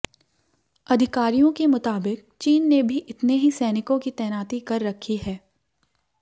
अधिकारियों के मुताबिक चीन ने भी इतने ही सैनिकों की तैनाती कर रखी है